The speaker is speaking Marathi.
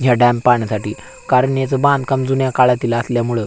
हा डॅम पाहण्यासाठी कारण याच बांधकाम जुन्या काळातील असल्यामुळं--